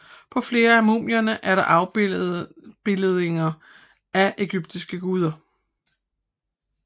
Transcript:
På flere af mumierne er der afbildninger af ægyptiske guder